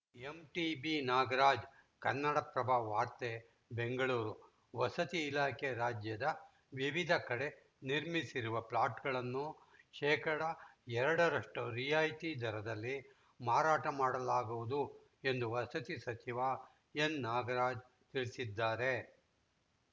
MTB Nagaraj Kannadaprabha ವಾರ್ತೆ ಬೆಂಗಳೂರು ವಸತಿ ಇಲಾಖೆ ರಾಜ್ಯದ ವಿವಿಧ ಕಡೆ ನಿರ್ಮಿಸಿರುವ ಫ್ಲಾಟ್‌ಗಳನ್ನು ಶೇಕಡಾ ಎರಡರಷ್ಟುರಿಯಾಯಿತಿ ದರದಲ್ಲಿ ಮಾರಾಟ ಮಾಡಲಾಗುವುದು ಎಂದು ವಸತಿ ಸಚಿವ ಎನ್‌ನಾಗರಾಜ್‌ ತಿಳಿಸಿದ್ದಾರೆ